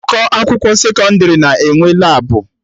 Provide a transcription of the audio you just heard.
Ụkọ akwụkwọ sekọndrị na-enwe Labụ